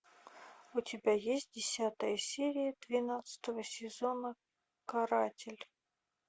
у тебя есть десятая серия двенадцатого сезона каратель